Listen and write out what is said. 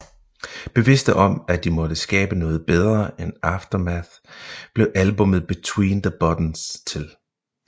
Bevidste om at de måtte skabe noget bedre end Aftermath blev albummet Between the Buttons til